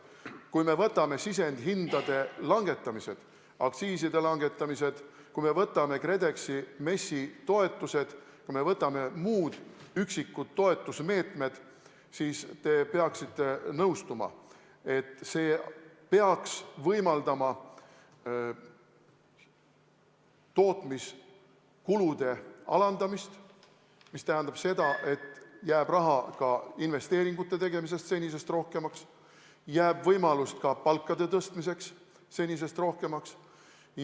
Kui me võtame sisendite hindade langetamise, aktsiiside langetamise, kui me võtame KredExi ja MES-i toetused, kui me võtame muud üksikud toetusmeetmed, siis te peaksite nõustuma, et see peaks võimaldama tootmiskulusid alandada, mis tähendab seda, et jääb raha senisest rohkemaks investeeringute tegemiseks senisest rohkemaks, jääb võimalust ka palkade tõstmiseks senisest rohkemaks.